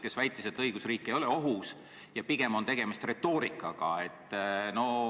Ta väitis, et õigusriik ei ole ohus ja pigem on tegemist retoorikaga.